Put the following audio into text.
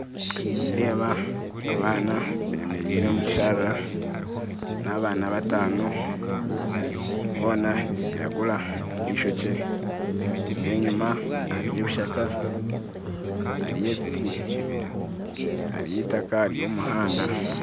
Nindeeba abaana bemerire omukishaara n'abaana bataano, boona nibiragura bishokye, nenyima hariyo ebishaka, hariyo ebitti, hariyo itaka hariyo omuhanda